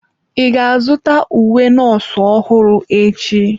Ị ga-azụta uwe nọọsụ ọhụrụ echi?